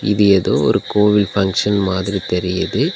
இது எதோ ஒரு கோவில் ஃபங்சன் மாதிரி தெரியுது.